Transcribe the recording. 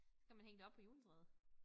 Så kan man hænge det op på juletræet